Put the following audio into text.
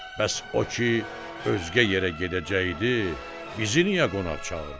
"Bəs o ki, özgə yerə gedəcəkdi, bizi niyə qonaq çağırdı?"